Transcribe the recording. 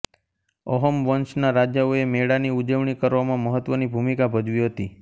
અહોમ વંશના રાજાઓએ મેળાની ઉજવણી કરવામાં મહત્વની ભૂમિકા ભજવી હતી